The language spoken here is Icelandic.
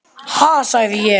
Ha, sagði ég.